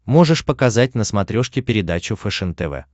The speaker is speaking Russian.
можешь показать на смотрешке передачу фэшен тв